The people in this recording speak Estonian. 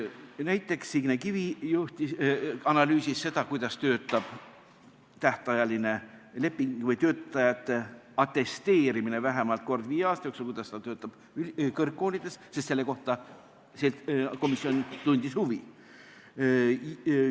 Näiteks analüüsis Signe Kivi seda, kuidas töötab tähtajaline leping või töötajate atesteerimine vähemalt kord viie aasta jooksul kõrgkoolides, sest selle vastu tunti komisjonis huvi.